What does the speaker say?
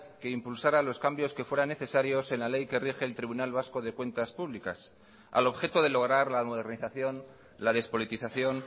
que impulsara los cambios que fueran necesarios en la ley que rige el tribunal vasco de cuentas públicas al objeto de lograr la modernización la despolitización